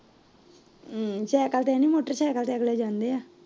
Cycle ਤੇ ਨਹੀਂ motorcycle ਤੇ ਅਗਲੇ ਜਾਂਦੇ ਆ।